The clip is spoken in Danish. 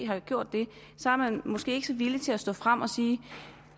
har gjort det er man måske ikke så villig til at stå frem og sige